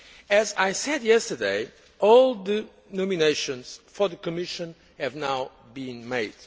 As I said yesterday, all the nominations for the Commission have now been made.